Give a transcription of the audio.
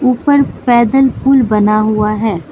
ऊपर पैदल पुल बना हुआ है।